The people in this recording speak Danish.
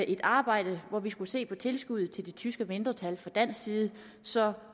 et arbejde hvor vi kunne se på tilskuddet til det tyske mindretal fra dansk side så